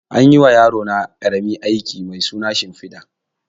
Anyi ma yarona ƙarami aski mai suna shimfiɗa